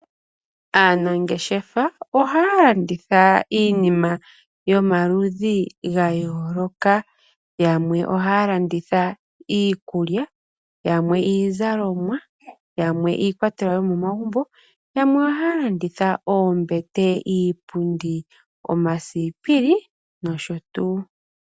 Aanangeshefa ohaya landitha iinima yomaludhi gayoolokathana . Yamwe ohaya landitha iikulya , yamwe iizalomwa, yamwe iikwatelwa yomomagumbo, yamwe ohaya landitha oombete, iipundi, omasipili noshotuu.